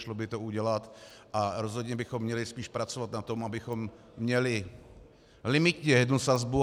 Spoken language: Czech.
Šlo by to udělat a rozhodně bychom měli spíš pracovat na tom, abychom měli limitně jednu sazbu.